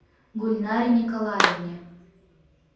гульнаре николаевне